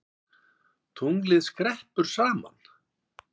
Tunglið skreppur saman